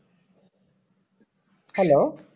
hello